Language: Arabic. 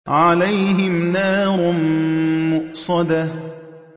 عَلَيْهِمْ نَارٌ مُّؤْصَدَةٌ